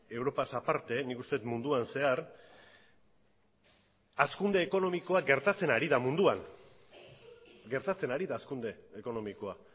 europaz aparte nik uste dut munduan zehar hazkunde ekonomikoa gertatzen ari da munduan gertatzen ari da hazkunde ekonomikoa